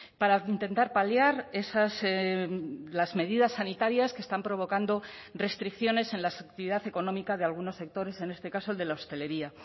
para intentar paliar las medidas sanitarias que están provocando restricciones en la actividad económica de algunos sectores en este caso el de la hostelería